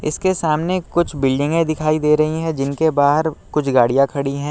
इसके सामने कुछ बिल्डिंगे दिखाई दे रहीं हैं जिनके बाहर कुछ गाड़िया खड़ी है।